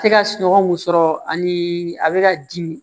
Tɛ ka sunɔgɔ mun sɔrɔ ani a bɛ ka dimi